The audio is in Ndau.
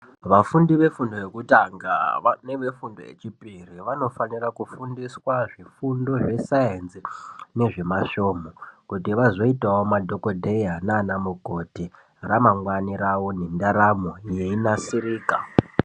Vafundi ve fundo yekutanga neve fundo ye chipiri vanofanira kufundiswa zvifundo zve sainzi nezvema svomhu kuto vazoitawo madhokodheya nana mukoti ra mangwani ravo ne ndaramo yei nasirika.